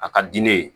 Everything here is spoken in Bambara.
A ka di ne ye